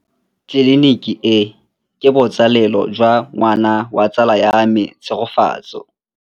Tleliniki e, ke botsalêlô jwa ngwana wa tsala ya me Tshegofatso.